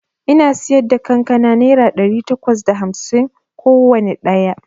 Ina siyarda kankana naira ɗari takwas da hamsin kowanne ɗaya